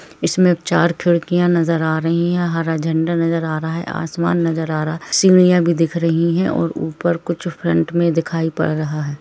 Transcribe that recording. इसमें चार खिड़किया नजर आ रही है हरा झंडा नजर आ रहा है आसमान नजर आ रही है सीढ़ियां भी दिख रही है और ऊपर कुछ फ्रंट में दिखाई पड़ रहा है।